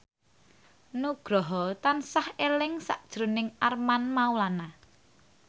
Nugroho tansah eling sakjroning Armand Maulana